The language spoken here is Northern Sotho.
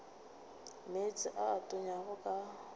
meetse a a tonyago ka